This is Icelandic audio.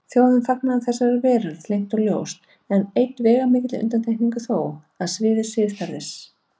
Þjóðin fagnaði þessari veröld leynt og ljóst, með einni veigamikilli undantekningu þó: á sviði siðferðis.